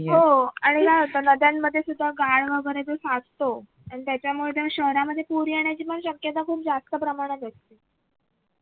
आणि त्याच्यामुळे तर शहरामध्ये पूर येण्याची पण शक्यता खूप जास्त प्रमाणात असते